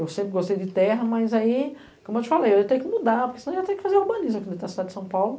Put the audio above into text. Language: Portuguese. Eu sempre gostei de terra, mas aí, como eu te falei, eu ia ter que mudar, porque senão eu ia ter que fazer urbanismo aqui dentro da cidade de São Paulo.